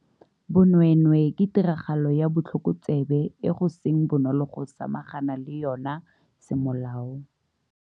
Bonweenwee ke tiragalo ya botlhokotsebe e go seng bonolo go samagana le yona semolao.